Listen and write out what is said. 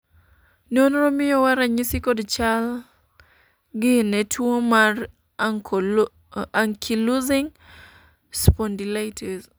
nonro miyowa ranyisi kod chal gi ne tuo mar Ankylosing spondylitis